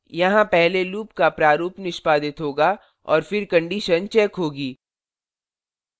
यहाँ पहले loop का प्रारूप निष्पादित होगा और फिर condition checked होगी